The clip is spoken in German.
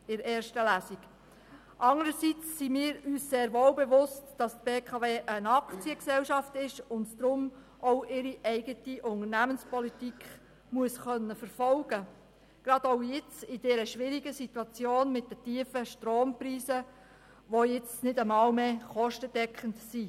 Anderseits sind wir uns sehr wohl bewusst, dass die BKW eine Aktiengesellschaft ist und deshalb auch ihre eigene Unternehmenspolitik verfolgen können muss, gerade auch jetzt in der schwierigen Situation mit den tiefen Strompreisen, die nicht einmal mehr kostendeckend sind.